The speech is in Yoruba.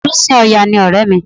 Olùsìn Ọya ni ọ̀rẹ́ mi